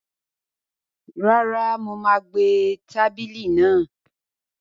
Rárá, mo má gbé tábìlì náà